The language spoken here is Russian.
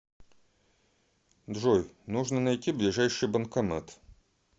джой нужно найти ближайший банкомат